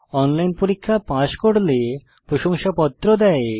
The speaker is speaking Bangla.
অনলাইন পরীক্ষা পাস করলে প্রশংসাপত্র দেয়